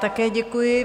Také děkuji.